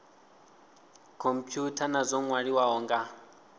khomphutha na dzo nwaliwaho nga